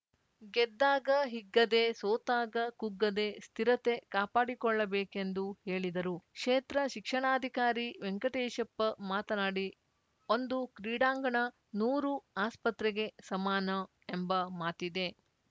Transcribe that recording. ಗೆದ್ದಾಗ ಹಿಗ್ಗದೆ ಸೋತಾಗ ಕುಗ್ಗದೆ ಸ್ಥಿರತೆ ಕಾಪಾಡಿಕೊಳ್ಳಬೇಕೆಂದು ಹೇಳಿದರು ಕ್ಷೇತ್ರ ಶಿಕ್ಷಣಾಧಿಕಾರಿ ವೆಂಕಟೇಶಪ್ಪ ಮಾತನಾಡಿ ಒಂದು ಕ್ರೀಡಾಂಗಣ ನೂರು ಆಸ್ಪತ್ರೆಗೆ ಸಮಾನ ಎಂಬ ಮಾತಿದೆ